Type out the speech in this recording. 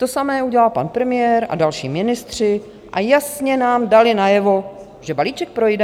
To samé udělal pan premiér a další ministři, a jasně nám dali najevo, že balíček projde.